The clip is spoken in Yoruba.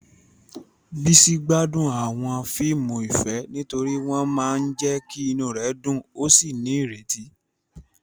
Bisi gbádùn àwọn fíìmù ìfẹ́ nítorí wọ́n máa ń jẹ́ kí inú rẹ̀ dùn ó sì ní ìrètí.